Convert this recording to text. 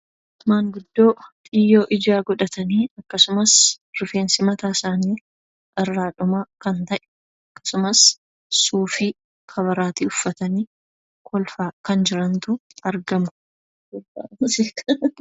Maanguddoo xiyyoo ijaa godhatanii akkasumas rifeensi mataa isaanii irraa dhumaa kan ta'e akkasumas suufii, karabaatii uffatanii kolfaa kan jirantu argamu.